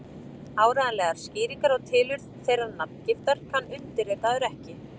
Áreiðanlegar skýringar á tilurð þeirrar nafngiftar kann undirritaður ekki.